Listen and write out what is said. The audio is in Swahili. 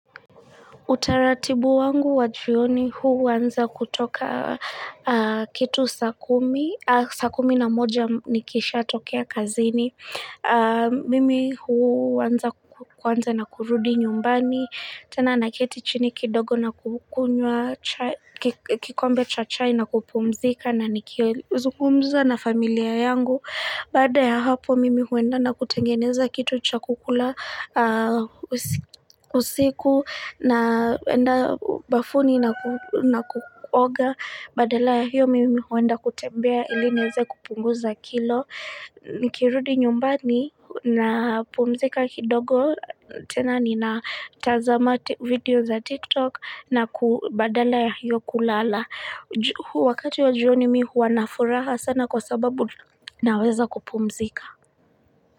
Utaratibu wangu wajioni huwanza kutoka kitu saa kumi. Saa kumi na moja nikisha tokea kazini. Mimi huwanza kwanza na kurudi nyumbani. Tena nakite chini kidogo na kukunwa, kikombe cha chai na kupumzika na nikizumumza na familia yangu. Bada ya hapo mimi huenda na kutengeneza kitu cha kukula usiku na wenda bafuni na kuoga. Badala ya hiyo mimi huenda kutembea ili niweze kupunguza kilo. Nikirudi nyumbani na pumzika kidogo tena ninatazama video za TikTok na ku badala ya hiyo kulala Wakati wa jioni mimi huwa nafuraha sana kwa sababu naweza kupumzika.